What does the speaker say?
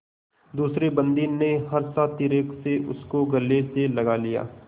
दूसरे बंदी ने हर्षातिरेक से उसको गले से लगा लिया